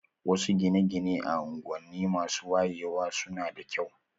Wasu gine-gine a unguwanni masu wayewa su na da kyau.